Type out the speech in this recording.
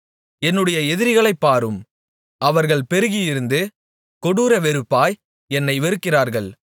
என்னுடைய எதிரிகளைப் பாரும் அவர்கள் பெருகியிருந்து கொடூர வெறுப்பாய் என்னை வெறுக்கிறார்கள்